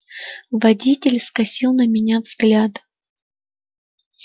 водитель скосил на меня взгляд